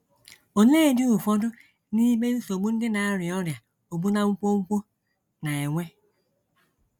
Oleedị ụfọdụ n’ime nsogbu ndị na - arịa ọrịa ogbu na nkwonkwo na - enwe?